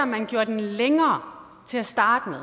man gjorde den længere til at starte